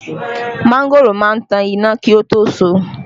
Mangoro má ń tan iná kí ó tó so